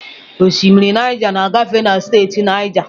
Osimiri Naija na-agafe na steeti Naija.